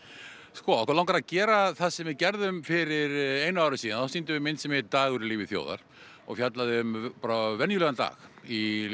sko okkur langar að gera það sem við gerðum fyrir einu áru síðan þá sýndum við mynd sem hét Dagur í lífi þjóðar og fjallaðu um bara venjulegan dag í